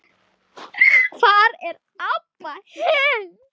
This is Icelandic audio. Hvar er Abba hin?